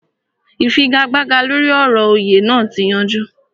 Ìfigagbága lóri ọ̀rọ̀ òyè naa ti yanjú